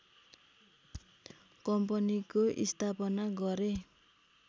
कम्पनीको स्थापना गरे